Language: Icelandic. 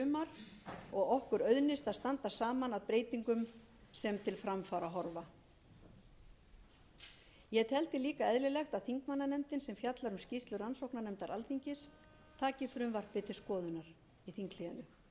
í sumar og okkur auðnist að standa saman að breytingum sem til framfara horfa ég teldi líka eðlilegt að þingmannanefndin sem fjallar um skýrslu rannsóknarnefndar alþingis taki frumvarpið til skoðunar í þinghléinu